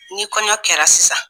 N'i kɔɲɔ kɛra sisan